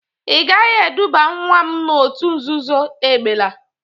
Ị gaghi eduba nwa m n'otu nzuzo egbela!